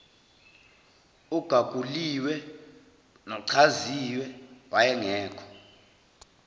ogaguliwe nochaziwe wayengekho